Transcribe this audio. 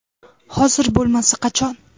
Hozir bo‘lmasa qachon?